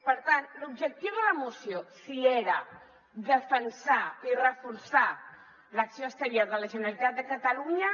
per tant l’objectiu de la moció si era defensar i reforçar l’acció exterior de la generalitat de catalunya